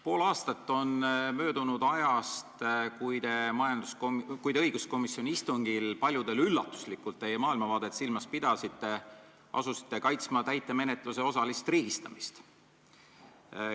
Pool aastat on möödunud ajast, kui te õiguskomisjoni istungil paljudele üllatuslikult – seda just teie maailmavaadet silmas pidades – asusite kaitsma täitemenetluse osalist riigistamist.